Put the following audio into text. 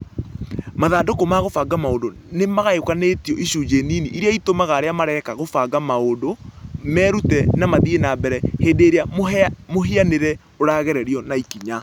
Mathandũkũ ma kũbanga maũndũ nĩ magayũkanĩtio icunjĩ nini iria itũmaga arĩa mareka kũbanga maũndũ merute na mathiĩ na mbere hĩndĩ ĩrĩa mũhianĩre ũragererio na ikinya.